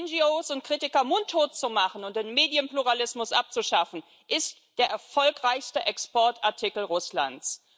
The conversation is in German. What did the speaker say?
NGOs und Kritiker mundtot zu machen und den Medienpluralismus abzuschaffen, ist der erfolgreichste Exportartikel Russlands.